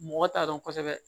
Mɔgɔ t'a dɔn kosɛbɛ